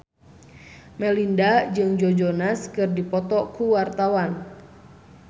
Melinda jeung Joe Jonas keur dipoto ku wartawan